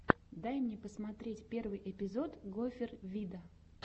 дай мне посмотреть первый эпизод гофер вида